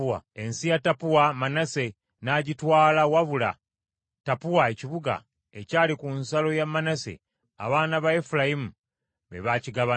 Ensi ya Tappua Manase n’agitwala wabula Tappua ekibuga ekyali ku nsalo ya Manase abaana ba Efulayimu be baakigabana.